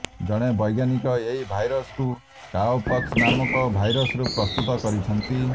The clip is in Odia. ଜଣେ ବୈଜ୍ଞାନିକ ଏହି ଭାଇରସକୁ କାଓପକ୍ସ ନାମକ ଭାଇରସରୁ ପ୍ରସ୍ତୁତ କରିଛନ୍ତି